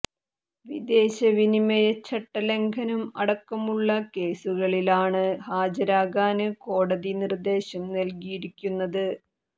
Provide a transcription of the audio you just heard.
വിദേശ വിനിമയച്ചട്ട ലംഘനം അടക്കമുള്ള കേസുകളിലാണ് ഹാജരാകാന് കോടതി നിര്ദ്ദേശം നല്കിയിരിക്കുന്നത്